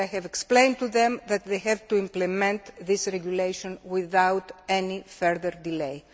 I have explained to them that they have to implement this regulation without any further delay.